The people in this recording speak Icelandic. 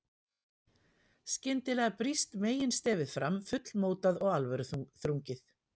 Skyndilega brýst meginstefið fram, fullmótað og alvöruþrungið.